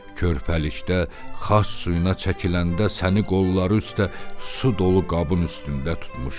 Körpəlikdə xas suyuna çəkiləndə səni qolları üstə su dolu qabın üstündə tutmuşdu.